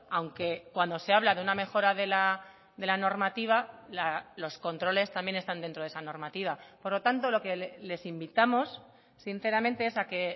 aunque cuando se habla de una mejora de la normativa los controles también están dentro de esa normativa por lo tanto lo que les invitamos sinceramente es a que